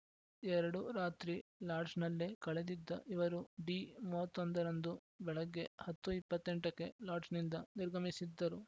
ಎರಡು ರಾತ್ರಿ ಲಾಡ್ಜ್‌ನಲ್ಲೇ ಕಳೆದಿದ್ದ ಇವರು ಡಿ ಮೂವತ್ತ್ ಒಂದರಂದು ಬೆಳಗ್ಗೆ ಹತ್ತು ಇಪ್ಪತ್ತ್ ಎಂಟಕ್ಕೆ ಲಾಡ್ಜ್‌ನಿಂದ ನಿರ್ಗಮಿಸಿದ್ದರು